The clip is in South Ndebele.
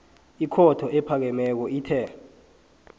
ikhotho ephakemeko ithe